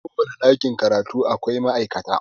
A kowane ɗakin karatu akwai ma'aikata